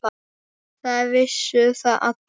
Það vissu það allir.